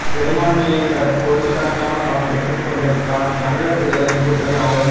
பெரும்பான்மையை பெற கோடிக்கணக்கான பணம் பெற்றுக்கொண்டு தான் தமிழர் விடுதலைக் கூட்டணி ஆதரவு